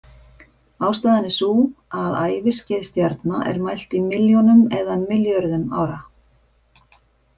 Ástæðan er sú að æviskeið stjarna er mælt í milljónum eða milljörðum ára.